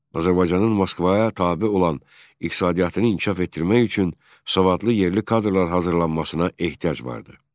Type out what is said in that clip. Azərbaycanın Moskvaya tabe olan iqtisadiyyatını inkişaf etdirmək üçün savadlı yerli kadrlar hazırlanmasına ehtiyac vardı.